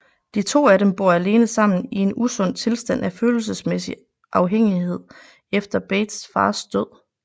De to af dem bor alene sammen i en usund tilstand af følelsesmæssig afhængighed efter Bates fars død